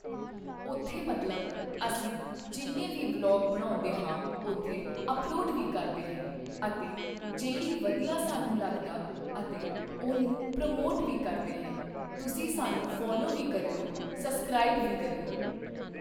ਉੱਥੇ ਮਤਲਬ ਅਸੀਂ ਜਿੰਨੇ ਵੀ ਵਲੌਗ ਬਣਾਉਂਦੇ ਹਾਂ ਉੱਥੇ ਅੱਪਲੋਡ ਵੀ ਕਰਦੇ ਹੈ ਅਤੇ ਜਿਹੜੀ ਵਧੀਆ ਸਾਨੂੰ ਲੱਗਦਾ ਅਤੇ ਉਹਨੂੰ ਪ੍ਰਮੋਟ ਵੀ ਕਰਦੇ ਹੈ ਤੁਸੀਂ ਸਾਨੂੰ ਫੋਲੋ ਵੀ ਕਰਿਓ ਸਬਸਕ੍ਰਾਇਬ ਵੀ ਕਰਿਓ